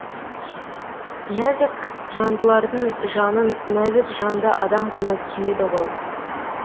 нәзік жандылардың жанын нәзік жанды адам ғана түсінеді ғой